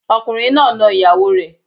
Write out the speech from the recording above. Ọkùnrin náà na ìyàwó rẹ̀